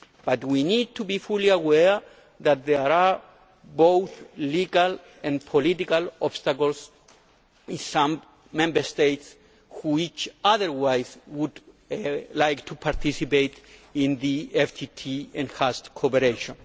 But we need to be fully aware that there are both legal and political obstacles in some Member States which otherwise would like to participate in the FTT enhanced cooperation.